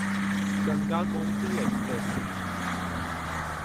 Ganga Gomti express